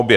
Obě.